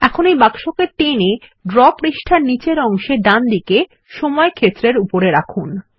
এখন এই বাক্সকে টেনে ড্র পৃষ্ঠার নীচের অংশে ডানদিকে সময় ক্ষেত্রের উপরে রাখুন